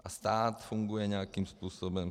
A stát funguje nějakým způsobem.